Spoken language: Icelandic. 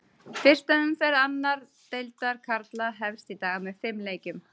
Fyrsta umferð annar deildar karla hefst í dag með fimm leikjum.